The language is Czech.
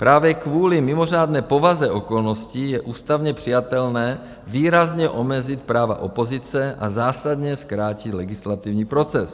Právě kvůli mimořádné povaze okolností je ústavně přijatelné výrazně omezit práva opozice a zásadně zkrátit legislativní proces.